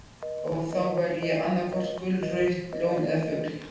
Og þá væri ég annaðhvort gullrautt ljón eða fugl.